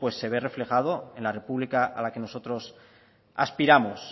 pues se ve reflejado en la república a la que nosotros aspiramos